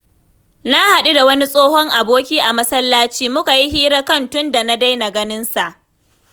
Na hadu da wani tsohon aboki a masallaci, muka yi hira kan tun da na daina ganinsa.